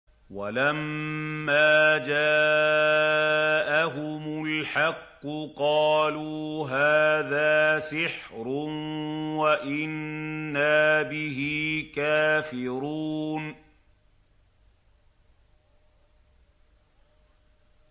وَلَمَّا جَاءَهُمُ الْحَقُّ قَالُوا هَٰذَا سِحْرٌ وَإِنَّا بِهِ كَافِرُونَ